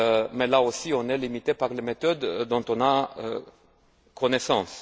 Mais là aussi on est limité par les méthodes dont on a connaissance.